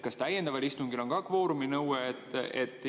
Kas täiendaval istungil on ka kvooruminõue?